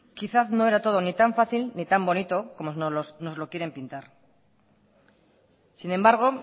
quizás no era todo ni tan fácil ni tan bonito como nos lo quieren pintar sin embargo